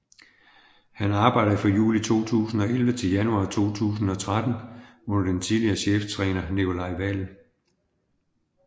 Han arbejde fra juli 2011 til januar 2013 under den tidligere cheftræner Nicolai Wael